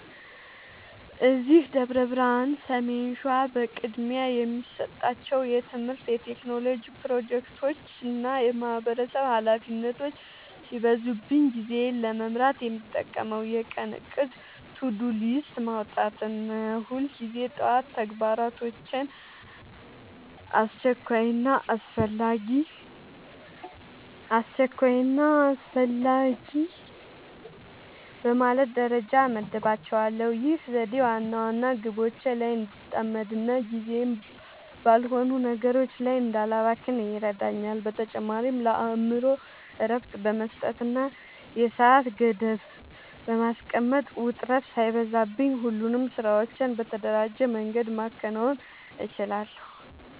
እዚህ ደብረ ብርሃን (ሰሜን ሸዋ) በቅድሚያ የምሰጣቸው የትምህርት፣ የቴክኖሎጂ ፕሮጀክቶችና የማህበረሰብ ኃላፊነቶች ሲበዙብኝ ጊዜዬን ለመምራት የምጠቀመው የቀን እቅድ (To-Do List) ማውጣትን ነው። ሁልጊዜ ጠዋት ተግባራቶቼን አስቸኳይና አስፈላጊ በማለት ደረጃ እመድባቸዋለሁ። ይህ ዘዴ ዋና ዋና ግቦቼ ላይ እንድጠመድና ጊዜዬን ባልሆኑ ነገሮች ላይ እንዳላባክን ይረዳኛል። በተጨማሪም ለአእምሮዬ እረፍት በመስጠትና የሰዓት ገደብ (Deadline) በማስቀመጥ፣ ውጥረት ሳይበዛብኝ ሁሉንም ስራዎቼን በተደራጀ መንገድ ማከናወን እችላለሁ።